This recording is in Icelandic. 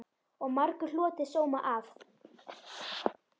Og margur hlotið sóma af.